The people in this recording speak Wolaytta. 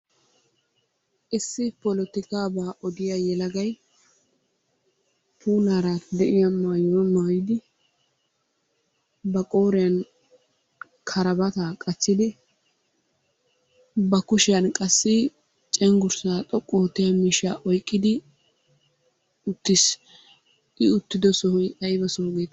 Issi polotikaabaa odiya yelagay puulaara de'iya maayuwa maayidi, ba qooriyan karbbaataa qachchidi, ba kushiyan qassi cenggurssaa xoqqu oottiya miishshaa oyqqidi uttiis. I uttido sohoy ayba soho geete,,